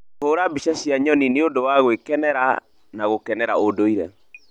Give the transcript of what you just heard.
Kũhũra mbica cia nyoni nĩ ũndũ wa gwĩkenia wa gũkenera ũndũire.